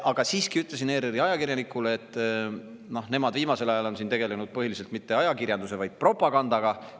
Aga siiski ütlesin ERR-i ajakirjanikule, et nemad pole viimasel ajal tegelenud mitte ajakirjandusega, vaid põhiliselt propagandaga.